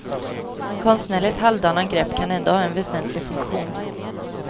Konstnärligt halvdana grepp kan ändå ha en väsentlig funktion.